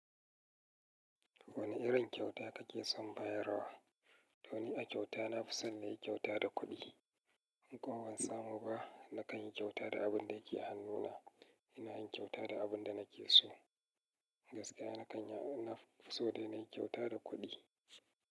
Wane irin kyauta kake son bayarwa? To ni a kyauta na fi son na yi kyauta da kuɗi. In ƙa ban samu ba, nakan yi kyauta da abun da yake hannuna. Ina yin kyauta da abun da nake so. Gaskiya na kan, na fi so dai na yi kyauta da kuɗi.